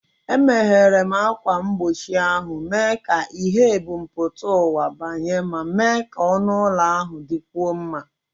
Emeghere m ákwà mgbochi ahụ, mee ka ìhè ebumpụta ụwa banye ma mee ka ọnụ ụlọ ahụ dịkwuo mma.